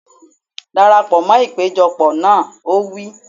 Dara pọ̀ mọ́ ìpéjọ pọ̀ náà! Ó wí.